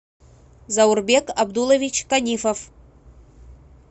заурбек абдулович канифов